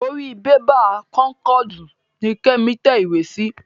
Orí bébà kónkọ̀dù ni Kẹ́mi tẹ ìwé sí.